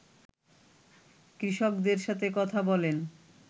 কৃষকদের সাথে কথা বলেন